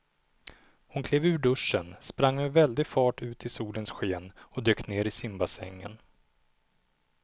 Hon klev ur duschen, sprang med väldig fart ut i solens sken och dök ner i simbassängen.